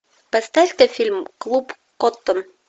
поставь ка фильм клуб коттон